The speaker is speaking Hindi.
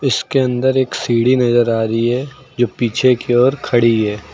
इसके अंदर एक सीढ़ी नजर आ रही है जो पीछे की ओर खड़ी है।